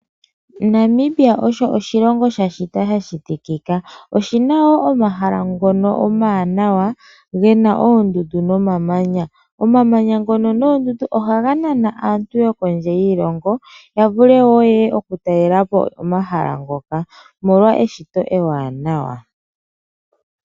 Namibia osho oshilonga sha shitwa sha shitikika. Oshina wo omahala ngono omawanawa ge na oondundu nomamanya. Omamanya ngono noondundu ohaga nana aantu yokondje yiilongo ya vule wo yeye ya talelepo omahala ngoka omolwa eshito ewanawa.